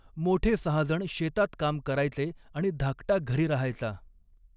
मोठे सहाजण शेतात काम करायचे आणि धाकटा घरी रहायचा.